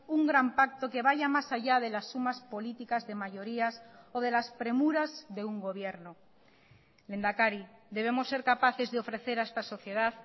un gran pacto que vaya más allá de las sumas políticas de mayorías o de las premuras de un gobierno lehendakari debemos ser capaces de ofrecer a esta sociedad